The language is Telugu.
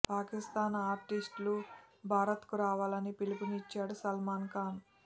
పాకిస్థాన్ ఆర్టిస్ట్ లు భారత్కు రావాలని పిలుపునిచ్చాడు సల్మాన్ ఖాన్